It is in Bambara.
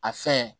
A fɛn